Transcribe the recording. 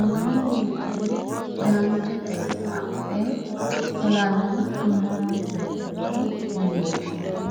magano huuccire danchare adhe fulanno amma'nite base yine woshshinanni.